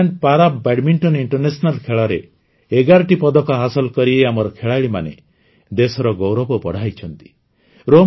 Ireland para badminton ଖେଳରେ ୧୧ଟି ପଦକ ହାସଲ କରି ଆମର ଖେଳାଳିମାନେ ଦେଶର ଗୌରବ ବଢ଼ାଇଛନ୍ତି